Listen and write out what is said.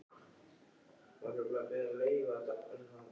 Hefur eitthvað fundist á síðustu klukkustundum?